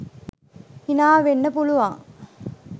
හිනා වෙන්න පුළුවන්.